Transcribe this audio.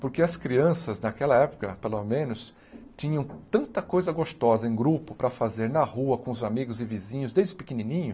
Porque as crianças, naquela época, pelo menos, tinham tanta coisa gostosa em grupo para fazer na rua com os amigos e vizinhos desde pequenininho.